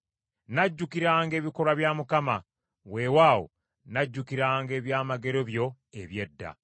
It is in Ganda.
Nnajjukiranga ebikolwa bya Mukama , weewaawo, nnajjukiranga ebyamagero byo eby’edda.